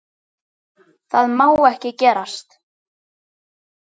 Það má ekki gerast.